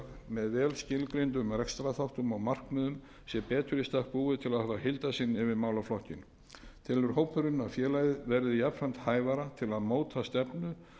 með vel skilgreindum rekstrarþáttum og markmiðum sé betur í stakk búið til að hafa heildarsýn yfir málaflokkinn telur hópurinn að félagið verði jafnframt hæfara til að móta stefnu